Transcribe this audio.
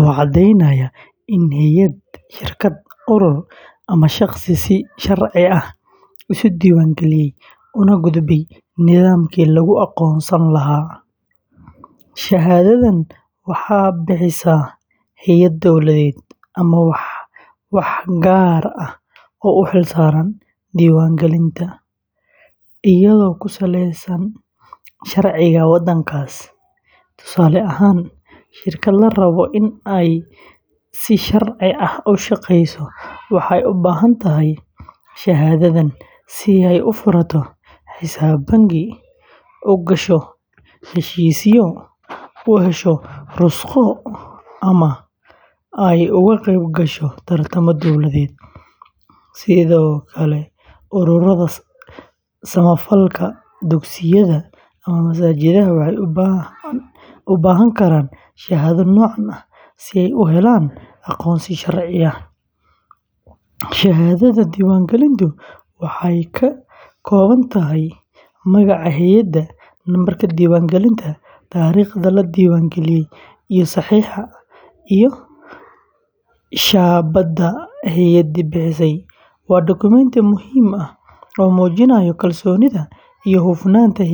oo caddaynaya in hay’ad, shirkad, urur, ama shaqsi si sharci ah isu diiwaangeliyey una gudbay nidaamkii lagu aqoonsan lahaa. Shahaadadan waxaa bixisa hay’ad dowladeed ama waax gaar ah oo u xilsaaran diiwaangelinta, iyadoo ku saleysan sharciga waddankaas. Tusaale ahaan, shirkad la rabo in ay si sharci ah u shaqeyso waxay u baahan tahay shahaadadan si ay u furato xisaab bangi, u gasho heshiisyo, u hesho rukhsado, ama ay uga qeyb gasho tartamo dowladeed. Sidoo kale, ururada samafalka, dugsiyada, ama masaajidada waxay u baahan karaan shahaado noocan ah si ay u helaan aqoonsi sharci ah. Shahaadada diiwaangelintu waxay ka kooban tahay magaca hay’adda, nambarka diiwaangelinta, taariikhda la diiwaangeliyey, iyo saxiixa iyo shaabadda hay’addii bixisay. Waa dukumenti muhiim ah oo muujinaya kalsoonida iyo hufnaanta hay’adda.